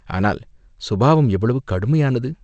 ஆனால் சுபாவம் எவ்வளவு கடுமையானது?